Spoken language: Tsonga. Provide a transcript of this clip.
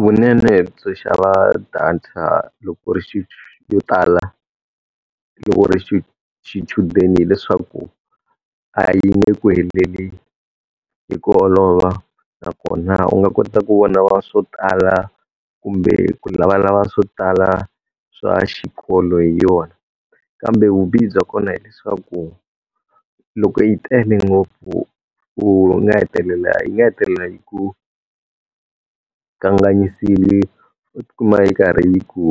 Vunene byo xava data loko ku u ri yo tala loko u ri xichudeni hileswaku, a yi nge ku heleli hi ku olova nakona u nga kota ku vona swo tala kumbe ku lavalava swo tala swa xikolo hi yona. Kambe vubihi bya kona hileswaku, loko yi tele ngopfu u nga hetelela yi nga hetelela yi ku kanganyisile u ti kuma yi karhi yi ku